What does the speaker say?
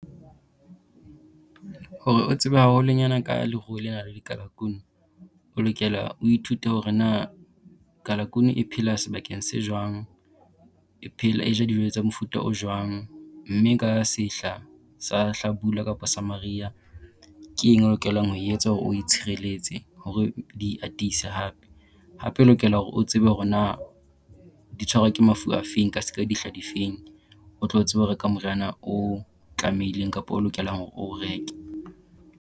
Hore o tsebe haholonyana ka leruo lena la dikalakunu, o lokela o ithute hore na kalakunu e phela sebakeng se jwang, e e ja dijo tsa mofuta o jwang. Mme ka sehla sa hlabula kapo sa mariha ke eng o lokelang ho e etsa hore o e tshireletse hore di iatise hape. Hape o lokela hore o tsebe hore na di tshwarwa ke mafu afeng ka dihla difeng o tlo tsebe ho reka moriana o tlamehileng kapo o lokelang hore o o reke.